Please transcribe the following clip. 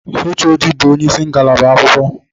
HOD bu onyeisi ngalaba akwụkwọ